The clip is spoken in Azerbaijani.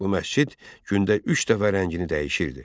Bu məscid gündə üç dəfə rəngini dəyişirdi.